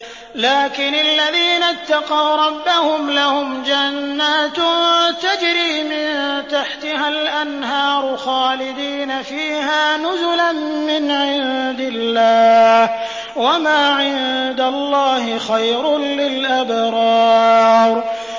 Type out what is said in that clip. لَٰكِنِ الَّذِينَ اتَّقَوْا رَبَّهُمْ لَهُمْ جَنَّاتٌ تَجْرِي مِن تَحْتِهَا الْأَنْهَارُ خَالِدِينَ فِيهَا نُزُلًا مِّنْ عِندِ اللَّهِ ۗ وَمَا عِندَ اللَّهِ خَيْرٌ لِّلْأَبْرَارِ